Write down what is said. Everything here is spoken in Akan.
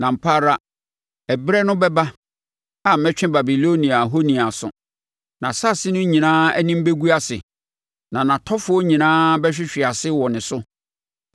Na ampa ara ɛberɛ no bɛba a mɛtwe Babilonia ahoni aso; nʼasase no nyinaa anim bɛgu ase na nʼatɔfoɔ nyinaa bɛhwehwe ase wɔ ne so.